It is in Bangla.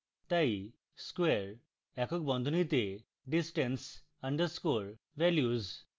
তাই square একক বন্ধনীতে distance underscore values